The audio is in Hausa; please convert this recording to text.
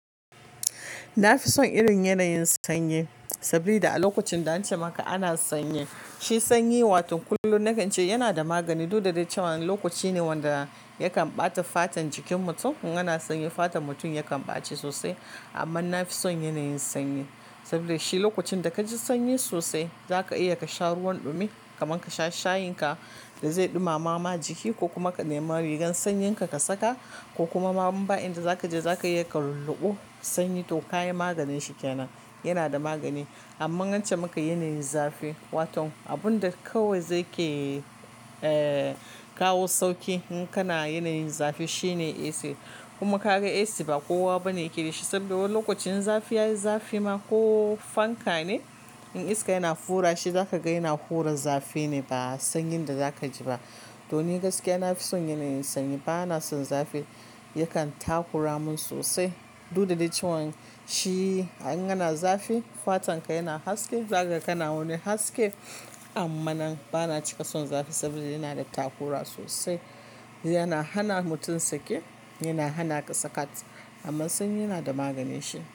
Na fi son irin yanayin sanyi, sabili da a lokacin da ance maka ana sanyi, shi sanyi wato kullum nakan ce yana da magani. Duk da dai cewa lokaci ne wanda yakan ɓata fatan jikin mutum. In ana sanyi fatar mutum yakan ɓace sosai. Amma na fi son yanayin sanyi, saboda shi lokacin da ka ji sanyi sosai za ka iya ka sha ruwan ɗumi, kaman ka sha shayin ka da zai ɗumama ma jiki ko kuma ka nema rigan sanyin ka, ka saka ko kuma inmaba in da za ka je za ka iya ka lulluɓe sanyi. To ka yi maganin shi kenan, yana da magani. Amma ance maka yanayin zafi, wato abun da kawai zai ke kawo sauki in kana yanayin zafi shine AC. Kuma ka ga AC ba kowa bane yake da shi saboda lokacin zafi ya yi zafi ma ko fanka ne, in iska yana fura shi za ka ga yana hura zafi ne ba sanyin da za ka ji ba. To ni gaskiya na fi son yanayin sanyi ba na son zafi, yakan takura mun sosai. Duk da dai cewa shi in kana zafi fatan ka yana haske, za ka kana wani haske. Amma nan ba na cika son zafi saboda yana da takura sosai, yana hana mutum sake, yana hana ka sakat, amma sanyi yana da maganin shi.